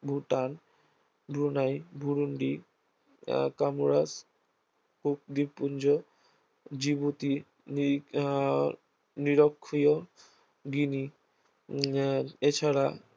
Bhutan, Brunei, Burundi, আহ Comoros ও দ্বীপপুঞ্জ, জিবতি নিরিখ আহ নিরক্ষীয়গিনি আহ এছাড়া